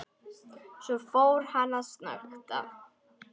Svo fór hann að snökta.